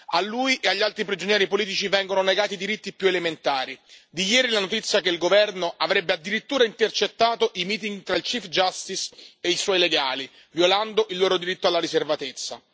A lui e agli altri prigionieri politici vengono negati i diritti più elementari di ieri è la notizia che il governo avrebbe addirittura intercettato i meeting tra il giudice e i suoi legali, violando il loro diritto alla riservatezza.